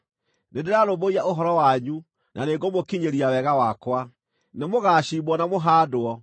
Nĩndĩrarũmbũiya ũhoro wanyu na nĩngũmũkinyĩria wega wakwa; nĩmũgacimbwo na mũhaandwo,